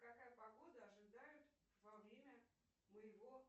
какая погода ожидает во время моего